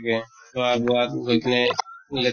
গতিকে গৈ কিনে লেতেৰা